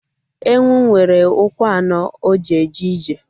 Ewu nwere ụkwụ anọ o ji eje ije